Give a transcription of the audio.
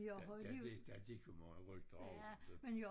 Der der gik der gik jo mange rygter om det